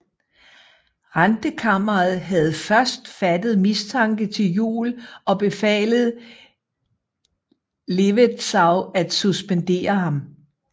Rentekammeret havde først fattet mistanke til Juel og befalet Levetzau at suspendere ham